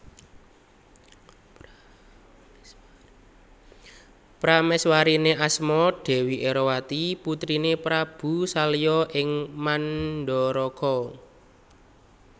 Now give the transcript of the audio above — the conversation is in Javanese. Pramèswariné asma Dèwi Erowati putriné Prabu Salya ing Mandharaka